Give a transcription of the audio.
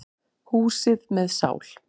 Húsi með sál.